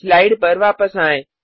slide पर वापस आएँ